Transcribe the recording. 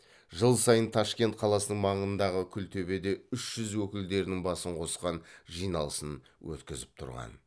жыл сайын ташкент қаласының маңындағы күлтөбеде үш жүз өкілдерінің басын қосқан жиналысын өткізіп тұрған